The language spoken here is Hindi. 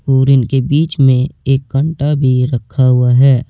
और इनके बीच में एक घंटा भी रखा हुआ है।